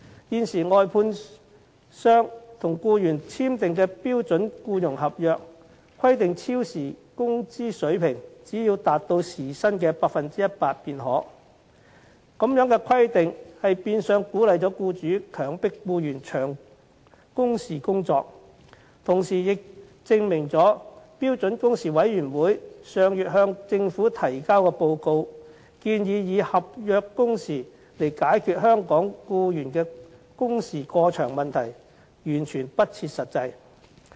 現時，外判商與僱員簽訂的標準僱傭合約，規定超時工資水平只要達到時薪 100% 便可，這樣的規定變相鼓勵僱主強迫僱員長工時工作，同時亦證明了標準工時委員會上月向政府提交的報告，建議以合約工時解決香港僱員工時過長的問題，完全不切實際。